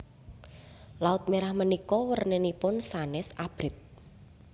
Laut Merah menika werninipun sanes abrit